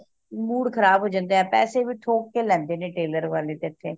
mood ਖਰਾਬ ਹੋ ਜਾਂਦਾ ਪੈਸੇ ਵੀ ਠੋਕ ਕ ਲੈਂਦੇ ਨੇ tailor ਵਾਲੇ ਤੇ ਇਥੇ